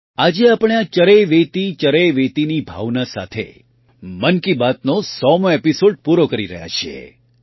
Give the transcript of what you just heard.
આજે આપણે આ ચરૈવેતિ ચરૈવેતિની ભાવના સાથે મન કી બાતનો ૧૦૦મો એપિસૉડ પૂરો કરી રહ્યા છીએ